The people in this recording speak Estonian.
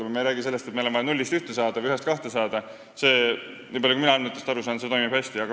Me ei räägi sellest, et meil on vaja nullist ühte saada või ühest kahte saada – see, nii palju kui mina andmetest aru saan, toimib hästi.